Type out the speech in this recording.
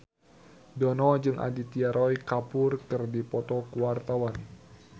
Dono jeung Aditya Roy Kapoor keur dipoto ku wartawan